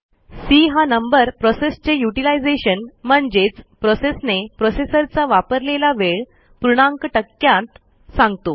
C हा नंबर प्रोसेसचे युटिलायझेशन म्हणजेच प्रोसेसने प्रोसेसरचा वापरलेला वेळ पूर्णांक टक्क्यांत सांगतो